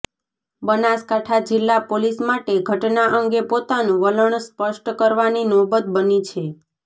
બનાસકાંઠા જીલ્લા પોલીસ માટે ઘટના અંગે પોતાનું વલણ સ્પષ્ટ કરવાની નોબત બની છે